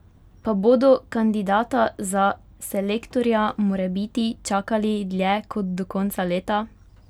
Pa bodo kandidata za selektorja morebiti čakali dlje kot do konca leta?